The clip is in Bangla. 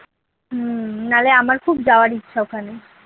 হম নারে আমার খুব যাওয়ার ইচ্ছা ওখানে।